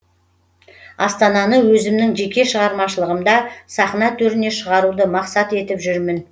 астананы өзімнің жеке шығармашылығымда сахна төріне шығаруды мақсат етіп жүрмін